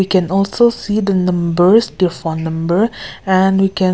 we can also see the numbers their phone number and we can--